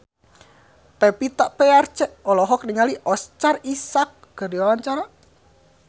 Pevita Pearce olohok ningali Oscar Isaac keur diwawancara